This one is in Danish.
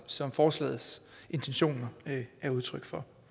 som forslagets intention er udtryk for